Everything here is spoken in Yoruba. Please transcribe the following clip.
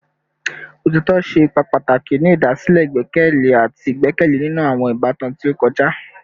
Otitọ ṣe ipa pataki ni idasile igbẹkẹle ati igbẹkẹle ninu awọn ibatan ti o kọja